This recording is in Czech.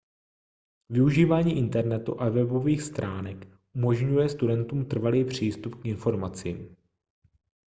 využívání internetu a webových stránek umožňuje studentům trvalý přístup k informacím